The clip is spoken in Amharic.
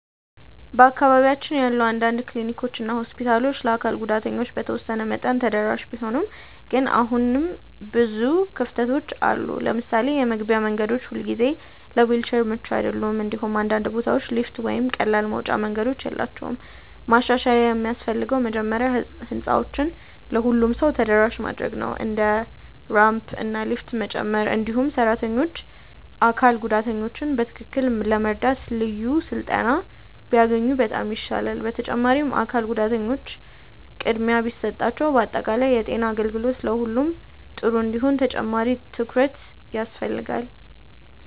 በአካባቢያችን ያሉ አንዳንድ ክሊኒኮች እና ሆስፒታሎች ለአካል ጉዳተኞች በተወሰነ መጠን ተደራሽ ቢሆኑም ግን አሁንም ብዙ ክፍተቶች አሉ። ለምሳሌ የመግቢያ መንገዶች ሁልጊዜ ለዊልቸር ምቹ አይደሉም፣ እንዲሁም አንዳንድ ቦታዎች ሊፍት ወይም ቀላል መውጫ መንገዶች የላቸውም። ማሻሻያ የሚያስፈልገው መጀመሪያ ህንፃዎችን ለሁሉም ሰው ተደራሽ ማድረግ ነው፣ እንደ ራምፕ እና ሊፍት መጨመር። እንዲሁም ሰራተኞች አካል ጉዳተኞችን በትክክል ለመርዳት ልዩ ስልጠና ቢያገኙ በጣም ይሻላል። በተጨማሪም አካል ጉዳተኞች ቅድሚያ ቢሰጣቸው በአጠቃላይ የጤና አገልግሎት ለሁሉም ጥሩ እንዲሆን ተጨማሪ ትኩረት ያስፈልጋል።